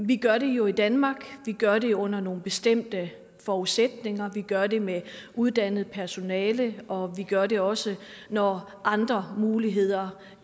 vi gør det jo i danmark vi gør det under nogle bestemte forudsætninger vi gør det med uddannet personale og vi gør det også når andre muligheder